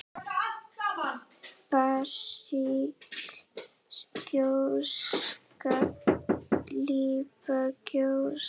basísk gjóska líparít gjóska